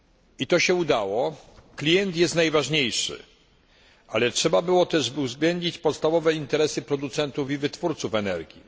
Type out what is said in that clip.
I to się udało klient jest najważniejszy, ale trzeba byłoby uwzględnić też podstawowe interesy producentów i wytwórców energii.